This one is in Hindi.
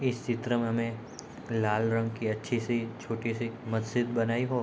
इस चित्र में हमें लाल रंग की अच्छी-सी छोटी-सी मस्जिद बनाई हो --